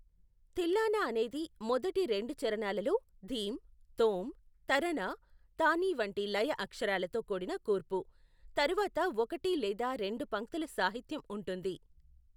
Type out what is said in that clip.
థిల్లానా అనేది మొదటి రెండు చరణాలలో ధీమ్, థోమ్, తరానా, థాని వంటి లయ అక్షరాలతో కూడిన కూర్పు, తరువాత ఒకటి లేదా రెండు పంక్తుల సాహిత్యం ఉంటుంది.